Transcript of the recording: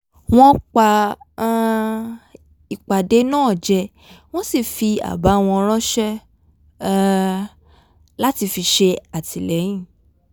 wọ́n pa um ìpàdé náà jẹ wọ́n sì fi àbá wọn ránṣẹ́ um láti fi ṣè àtìlẹ́yìn